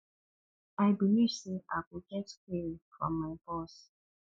i believe say i go get query from my boss